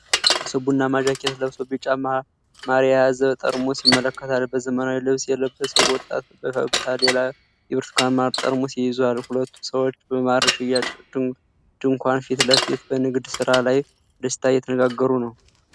አንድ ሰው ቡናማ ጃኬት ለብሶ ቢጫ ማር የያዘ ጠርሙስ ይመለከታል። በዘመናዊ ልብስ የለበሰው ወጣት በፈገግታ ሌላ የብርቱካን ማር ጠርሙስ ይዟል። ሁለቱ ሰዎች በማር ሽያጭ ድንኳን ፊት ለፊት በንግድ ሥራ ላይ በደስታ እየተነጋገሩ ነው።